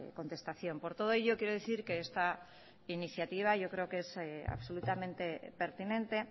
contestación por todo ello quiero decir que esta iniciativa yo creo que es absolutamente pertinente